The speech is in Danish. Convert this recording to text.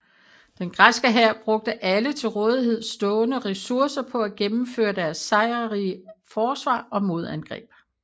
Den græske hær brugte alle til rådighed stående ressourcer på at gennemføre deres sejrrige forsvar og modangreb